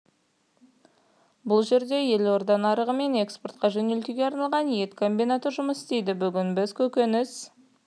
бұл жерде елорда нарығы мен экспортқа жөнелтуге арналған ет комбинаты жұмыс істейді бүгін біз көкөніс